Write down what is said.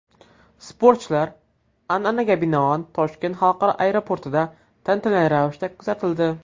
Sportchilar, an’anaga binoan, Toshkent xalqaro aeroportida tantanali ravishda kuzatildi.